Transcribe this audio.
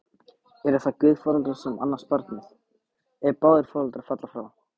Eru það guðforeldrar sem annast barnið, ef báðir foreldrar falla frá?